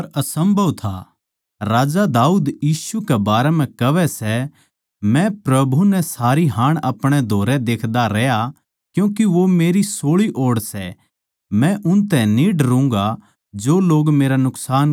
क्यूँके राजा दाऊद यीशु कै बारै म्ह कहवै सै मै प्रभु नै सारी हाण अपणे धोरै देख्दा रहया क्यूँके वो मेरी सोळी ओड़ सै मै उनतै न्ही डरूँगा जो मेरा नुकसान चाहवै सै